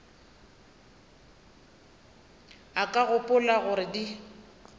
o ka gopola gore di